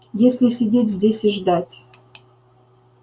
если сидеть здесь и ждать